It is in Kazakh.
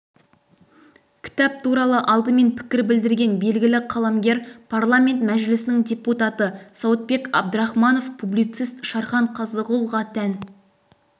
кітап туралы алдымен пікір білдірген белгілі қаламгер парламент мәжілісінің депутаты сауытбек абдрахманов публицист шархан қазығұлға тән